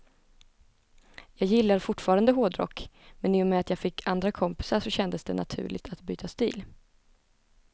Jag gillar fortfarande hårdrock, men i och med att jag fick andra kompisar så kändes det naturligt att byta stil.